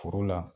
Foro la